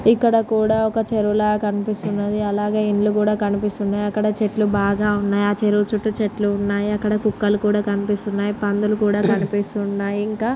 ఇక్కడ కూడా ఒక చెరువుల కనిపిస్తున్నది. అలాగే ఇల్లులు కూడా కనిపిస్తున్నాయ్. అక్కడ చెట్లు బాగా ఉన్నాయ్. ఆ చెరువు చుట్టూ చెట్లు ఉన్నాయ్. అక్కడ కుక్కలు కూడా కనిపిస్తున్నాయ్. పందులు కూడా కనిపిస్తున్నాయ్. ఇంక--